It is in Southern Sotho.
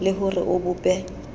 le ho re o bope